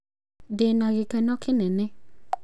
ndina gĩkeno kĩnene